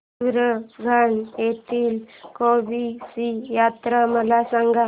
सुरगाणा येथील केम्ब ची यात्रा मला सांग